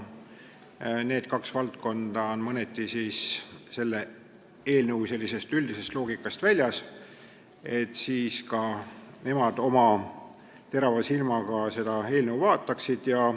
Need kaks valdkonda on mõneti selle eelnõu sellisest üldisest loogikast väljas ja ka need komisjonid oma terava silmaga võiksid seda eelnõu vaadata.